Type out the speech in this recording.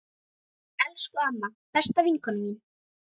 Elsku amma, besta vinkona mín.